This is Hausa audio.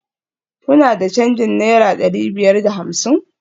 Kuna da canjin naira dari biyar da hamsin?